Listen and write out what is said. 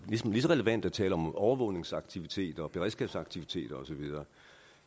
lige så relevant at tale om overvågningsaktiviteter beredskabsaktiviteter osv